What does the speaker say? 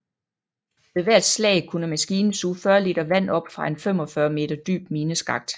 Ved hvert slag kunne maskinen suge 40 liter vand op fra en 45 meter dyb mineskakt